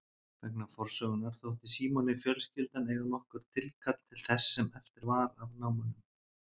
Vegna forsögunnar þótti Símoni fjölskyldan eiga nokkurt tilkall til þess sem eftir var af námunum.